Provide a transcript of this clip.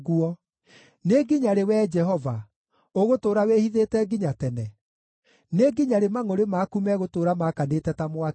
Nĩ nginya rĩ, Wee Jehova? Ũgũtũũra wĩhithĩte nginya tene? Nĩ nginya rĩ mangʼũrĩ maku megũtũũra maakanĩte ta mwaki?